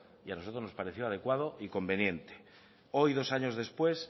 y a nosotros nos pareció adecuado y conveniente hoy dos años después